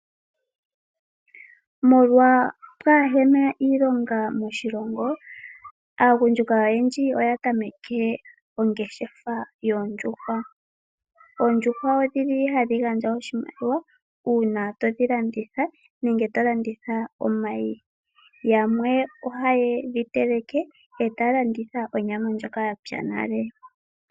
Molwa pwaahena iilonga moshilongo , aagundjuka oyendji oya tameke ongeshefa yoondjuhwa. Oondjuhwa odhi li hadhi gandja oshimaliwa uuna to dhi landitha nenge to landitha omayi. Yamwe ohaye dhi teleke e ta ya landitha onyama ndjoka ya pya nale.